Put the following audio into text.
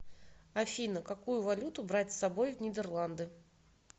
афина какую валюту брать с собой в нидерланды